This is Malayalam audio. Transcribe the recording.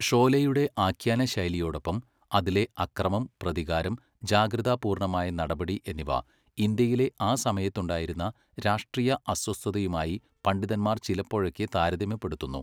ഷോലെയുടെ ആഖ്യാന ശൈലിയോടൊപ്പം അതിലെ അക്രമം, പ്രതികാരം, ജാഗ്രതാ പൂർണ്ണമായ നടപടി എന്നിവ ഇന്ത്യയിലെ ആ സമയത്തുണ്ടായിരുന്ന രാഷ്ട്രീയ അസ്വസ്ഥതയുമായി പണ്ഡിതന്മാർ ചിലപ്പോഴൊക്കെ താരതമ്യപ്പെടുത്തുന്നു.